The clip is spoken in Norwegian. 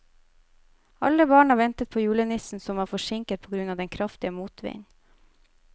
Alle barna ventet på julenissen, som var forsinket på grunn av den kraftige motvinden.